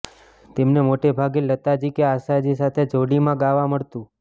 તેમને મોટેભાગે લતાજી કે આશાજી સાથે જોડીમાં ગાવા મળતું